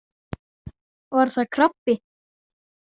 Var það krabbi?